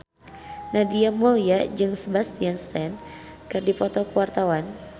Nadia Mulya jeung Sebastian Stan keur dipoto ku wartawan